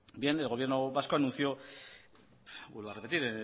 el gobierno vasco anunció vuelvo a repetir